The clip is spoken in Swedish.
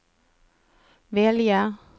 välja